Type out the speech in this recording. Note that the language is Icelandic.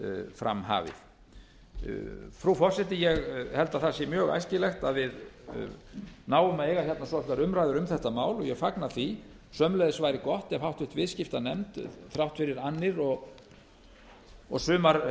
fram hafið frú forseti ég held að það sé mjög æskilegt að við náum að eiga svolitlar umræður um þetta mál og ég fagna því sömuleiðis væri gott ef háttvirtur viðskiptanefnd þrátt fyrir annir og